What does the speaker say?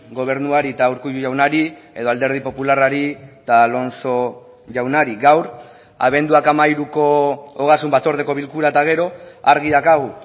gobernuari eta urkullu jaunari edo alderdi popularrari eta alonso jaunari gaur abenduak hamairuko ogasun batzordeko bilkura eta gero argi daukagu